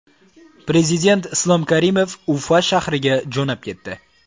Prezident Islom Karimov Ufa shahriga jo‘nab ketdi.